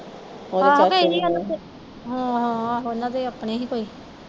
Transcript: ਆਹੋ ਓਹਨਾ ਦੇ ਆਪਣੇ ਹੀ ਕੋਈ